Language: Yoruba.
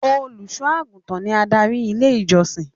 Olùṣọ àgùntàn ní adarí ilé ìjọsìn.